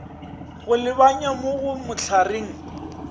go lebanya mo go mahlareng